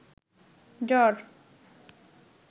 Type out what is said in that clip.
জ্বর